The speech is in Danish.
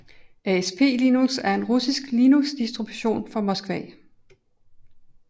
ASP Linux er en russisk Linuxdistribution fra Moskva